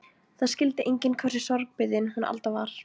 Það skildi enginn hversu sorgbitin hún Alda var.